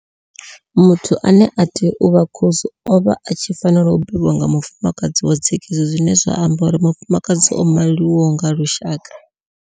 Muthu ane a tea u vha khosi o vha a tshi fanela u bebwa nga mufumakadzi wa dzekiso zwine zwa amba uri mufumakadzi o maliwaho nga lushaka.